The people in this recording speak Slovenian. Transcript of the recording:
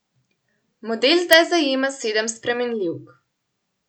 Model zdaj zajema sedem spremenljivk.